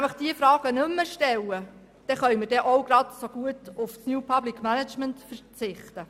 Wenn man diese Fragen nicht mehr stellt, kann man genauso gut auf das New Public Management verzichten.